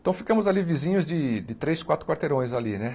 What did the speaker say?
Então, ficamos ali vizinhos de de três, quatro quarteirões ali, né?